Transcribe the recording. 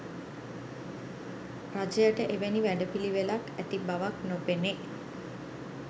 රජයට එවැනි වැඩපිළිවෙලක් ඇති බවක් නොපෙනේ.